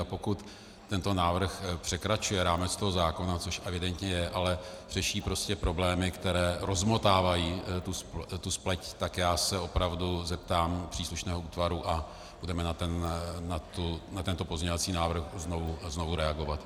A pokud tento návrh překračuje rámec toho zákona, což evidentně je, ale řeší prostě problémy, které rozmotávají tu spleť, tak já se opravdu zeptám příslušného útvaru a budeme na tento pozměňovací návrh znovu reagovat.